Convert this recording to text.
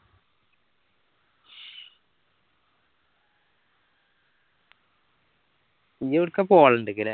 ഇനി എവിടെക്കാ പോലാൻഡിലേക്ക് ല്ലേ